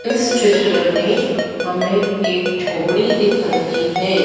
इस चित्र में हमें एक झोपड़ी दिख रही है।